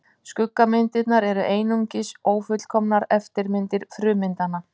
Skuggamyndirnar eru einungis ófullkomnar eftirmyndir frummyndanna.